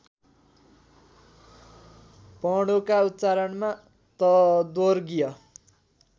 वर्णोका उच्चारणमा तद्वर्गीय